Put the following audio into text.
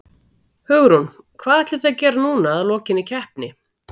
Hugrún: Hvað ætlið þið að gera núna að lokinni keppni?